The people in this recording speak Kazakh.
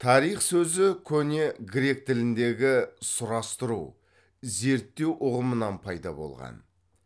тарих сөзі көне грек тіліндегі сұрастыру зерттеу ұғымынан пайда болған